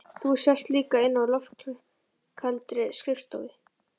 Þú sast líka inni á loftkældri skrifstofu